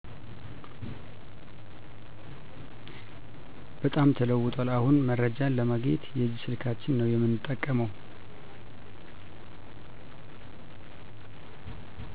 በጣም ተለውጧል አሁን መረጃን ለማግኘት የእጅ ስልካችን ነው የምንጠቀመው